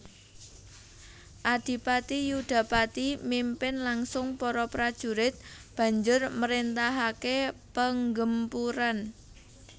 Adipati Yudapati mimpin langsung para prajurit banjur mréntahake penggempuran